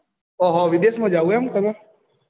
ઓં હો વિદેશ માં જાઉં ઈમ તમે